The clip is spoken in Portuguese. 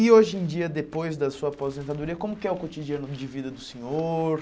E hoje em dia, depois da sua aposentadoria, como é o cotidiano de vida do senhor?